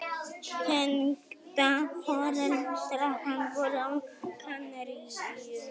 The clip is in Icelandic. Tengdaforeldrar hans voru á Kanaríeyjum.